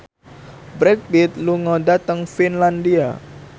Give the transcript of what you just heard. Brad Pitt lunga dhateng Finlandia